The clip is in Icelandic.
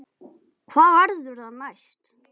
Hvað verður það næst?